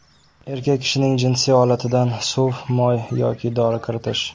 Erkak kishining jinsiy olatidan suv, moy yoki dori kiritish.